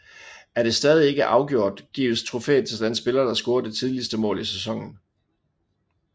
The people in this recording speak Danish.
Er det stadig ikke afgjort gives trofæet til den spiller der scorer det tidligste mål i sæsonen